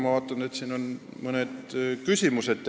Ma vaatan, et siin on tekkinud mõned küsimused.